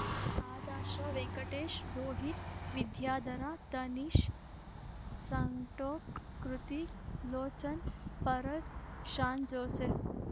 ಆದಾಶ್ರ Venkatesh Rohit Vidyadhara Tanish Santok Kritik Lochan Paras Shaan Joseph